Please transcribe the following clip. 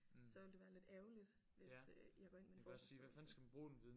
Så ville det være lidt ærgerligt hvis øh jeg går ind med en forforståelse